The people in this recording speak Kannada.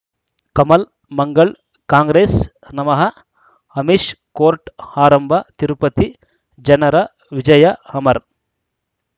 ಕಮಲ್ ಮಂಗಳ್ ಕಾಂಗ್ರೆಸ್ ನಮಃ ಅಮಿಷ್ ಕೋರ್ಟ್ ಆರಂಭ ತಿರುಪತಿ ಜನರ ವಿಜಯ ಅಮರ್